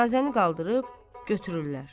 Cənazəni qaldırıb götürürlər.